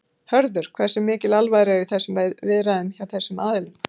Hörður, hversu mikil alvara er í þessum viðræðum hjá þessum aðilum?